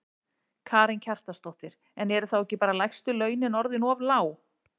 Karen Kjartansdóttir: En eru þá ekki bara lægstu launin orðin of lág?